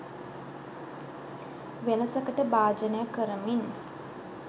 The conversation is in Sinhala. වෙනසකට භාජනය කරමින්